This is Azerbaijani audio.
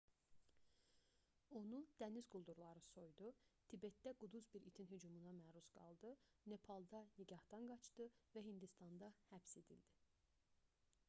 onu dəniz quldurları soydu tibetdə quduz bir itin hücumuna məruz qaldı nepalda nikahdan qaçdı və hindistanda həbs edildi